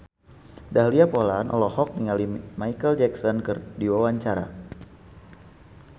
Dahlia Poland olohok ningali Micheal Jackson keur diwawancara